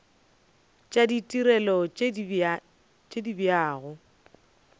tša ditirelo tše di abjago